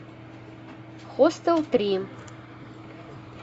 хостел три